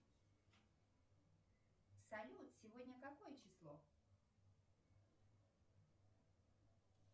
салют сегодня какое число